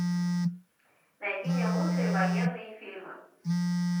найди мне лучшие военные фильмы